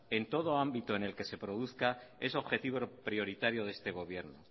en todo ámbito en el que se produzca es objetivo prioritario de este gobierno